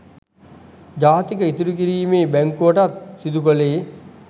ජාතික ඉතුරු කිරීමේ බැංකුවටත් සිදු කලේ.